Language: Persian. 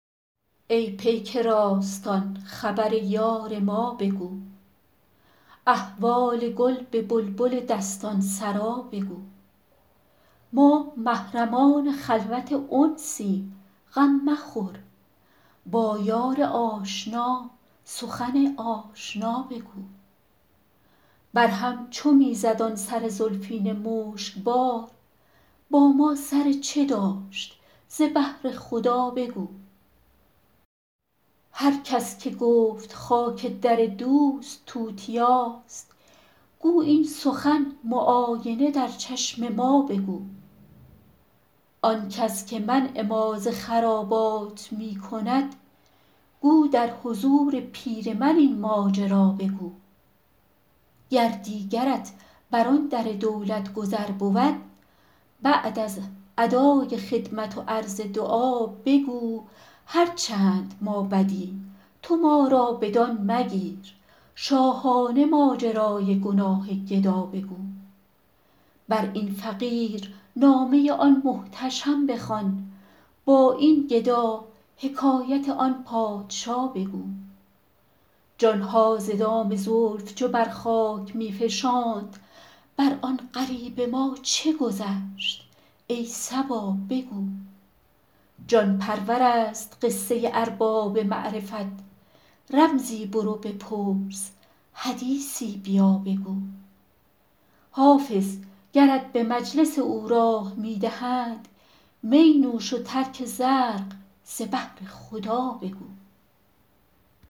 ای پیک راستان خبر یار ما بگو احوال گل به بلبل دستان سرا بگو ما محرمان خلوت انسیم غم مخور با یار آشنا سخن آشنا بگو بر هم چو می زد آن سر زلفین مشک بار با ما سر چه داشت ز بهر خدا بگو هر کس که گفت خاک در دوست توتیاست گو این سخن معاینه در چشم ما بگو آن کس که منع ما ز خرابات می کند گو در حضور پیر من این ماجرا بگو گر دیگرت بر آن در دولت گذر بود بعد از ادای خدمت و عرض دعا بگو هر چند ما بدیم تو ما را بدان مگیر شاهانه ماجرای گناه گدا بگو بر این فقیر نامه آن محتشم بخوان با این گدا حکایت آن پادشا بگو جان ها ز دام زلف چو بر خاک می فشاند بر آن غریب ما چه گذشت ای صبا بگو جان پرور است قصه ارباب معرفت رمزی برو بپرس حدیثی بیا بگو حافظ گرت به مجلس او راه می دهند می نوش و ترک زرق ز بهر خدا بگو